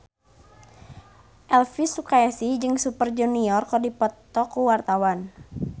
Elvy Sukaesih jeung Super Junior keur dipoto ku wartawan